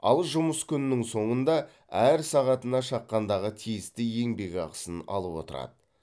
ал жұмыс күнінің соңында әр сағатына шаққандағы тиісті еңбекақысын алып отырады